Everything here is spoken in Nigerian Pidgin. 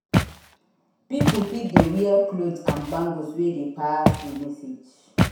Pipo fit de wear clothes and bangles wey de pass di message